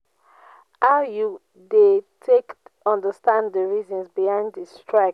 how you dey take understand di reasons behind di strike?